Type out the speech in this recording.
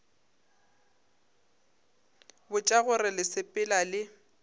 botša gore le sepela le